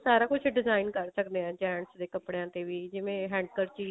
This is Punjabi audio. ਸਾਰਾ ਕੁਝ design ਕਰ ਸਕਦੇ ਹਾਂ gents ਦੇ ਕੱਪੜਿਆ ਤੇ ਵੀ ਜਿਵੇਂ handkerchief